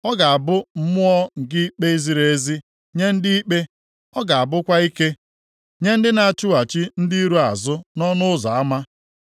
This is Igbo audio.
Ọ ga-abụ mmụọ nke ikpe ziri ezi nye ndị ikpe. Ọ ga-abụkwa ike nye ndị na-achụghachi ndị iro azụ nʼọnụ ụzọ ama.